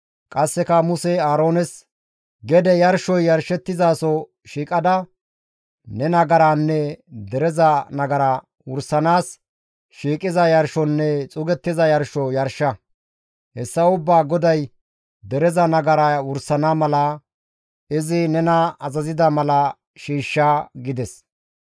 Qasseka Musey Aaroones, «Gede yarshoy yarshettizaso shiiqada ne nagaranne dereza nagara wursanaas shiiqiza yarshonne xuugettiza yarsho yarsha; hessa ubbaa GODAY dereza nagara wursana mala izi nena azazida mala shiishsha» gides.